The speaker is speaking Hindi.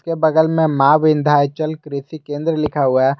के बगल में मां विंध्याचल कृषि केंद्र लिखा हुआ है।